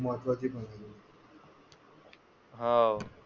महत्वाची पण आहे हा.